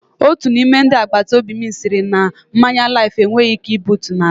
Otu n'ime ndị agbataobi m sịrị na mmanya Laif enweghị ike butuo n'ala.